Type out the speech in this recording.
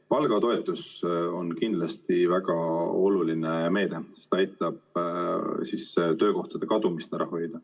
Palgatoetus on kindlasti väga oluline meede, see aitab töökohtade kadumist ära hoida.